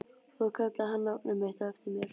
Og þá kallaði hann nafnið mitt á eftir mér.